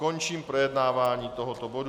Končím projednávání tohoto bodu.